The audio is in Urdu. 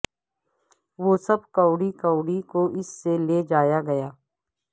وہ سب کوڑی کوڑی کو اس سے لے جایا گیا